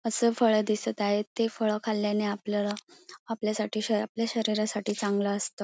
अस फळ दिसत आहेत ते फळ खाल्याने आपल्याला आपल्यासाठी आपल्या शरीरासाठी चांगल असत.